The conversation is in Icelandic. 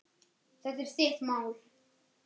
Þetta er þitt mál.